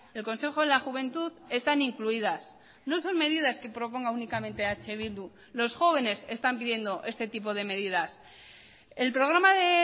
el consejo de la juventud están incluidas no son medidas que proponga únicamente eh bildu los jóvenes están pidiendo este tipo de medidas el programa de